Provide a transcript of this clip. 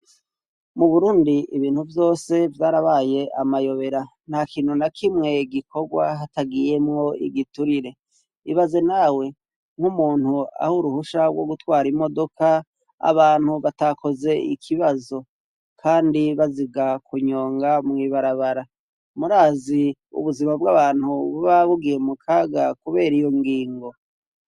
Mu Burundi ibintu vyose vyarabaye amayobera, ntakintu na kimwe gikorwa hatagiyemwo igiturire, ibaze nawe nk'umuntu aha uruhusha gwo gutwara imodoka abantu batakoze ikibazo kandi baziga kunyonga mw'ibarabara, murazi ubuzima bw'abantu buba bugiye mukaga kubera iyo ngingo.